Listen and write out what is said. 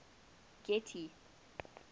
getty